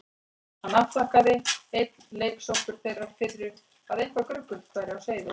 Hann afþakkaði, enn leiksoppur þeirrar firru að eitthvað gruggugt væri á seyði.